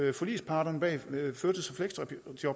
at forligsparterne bag førtids